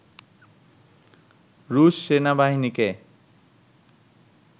রুশ সেনাবাহিনীকে